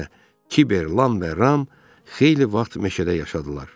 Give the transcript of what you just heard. Beləliklə, Kibər, Lam və Ram xeyli vaxt meşədə yaşadılar.